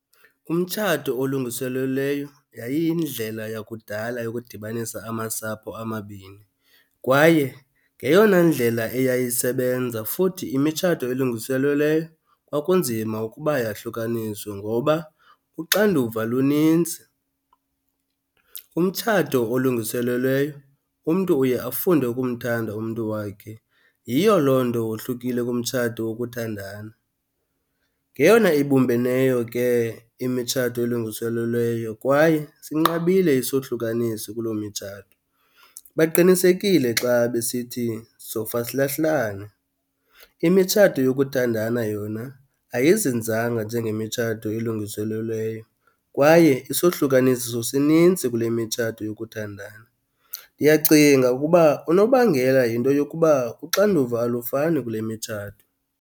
Umtshato olungiselelweyo yayiyindlela yakudala yokudibanisa amasapho amabini, kwaye ngeyona ndlela yayisebenza futhi imitshato elungiselelweyo kwakunzima ukuba yahlukaniswe ngoba uxanduva lunintsi. Umtshato olulungiselelweyo umntu uye afunde ukumthanda umntu wakhe, yiyo loo nto wohlukile kumtshato wokuthandana. Ngeyona ibumbeneyo ke imitshato elungiselelweyo kwaye sinqabile isohlukaniso kuloo mitshato. Baqinisekile xa besithi sofa silahlane. Imitshato yokuthandana yona ayizinzanga njengemitshato elungiselelweyo kwaye isohlukaniso sinintsi kule mitshato yokuthandana. Ndiyacinga ukuba unobangela yinto yokuba uxanduva alufani kule mitshato.